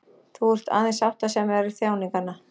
Þú ert aðeins sáttasemjari þjáninganna.